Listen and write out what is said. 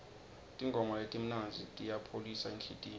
tingoma letimnandzi tiyayipholisa inhlitiyo